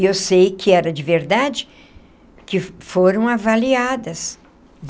E eu sei que era de verdade, que foram avaliadas.